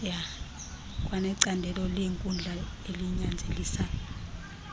kwanecandelo leenkundla elinyanzelisa